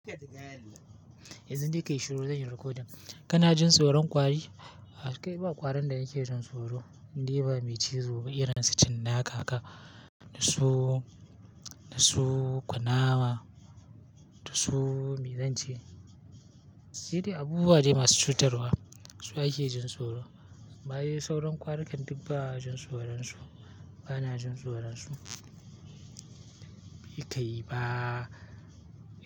Yanzu dai ka yi shiru, zan yi recording. Kana jin tsoran kwari? Kai, ba ƙwarin da nake jin tsoro, in dai ba mai cizo ba, irin su cin cinnaka, da su, da su ƙunama, da su mizanci. Sai dai abubuwa dai masu cutarwa su ake jin tsoro. Amma dai sauran kwarikan duk ba'a jin tsoron su, bana jin tsoron su. Bai kai ba.